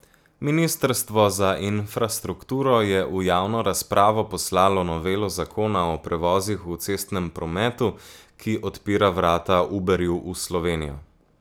Ministrstvo za infrastrukturo je v javno razpravo poslalo novelo zakona o prevozih v cestnem prometu, ki odpira vrata Uberju v Slovenijo.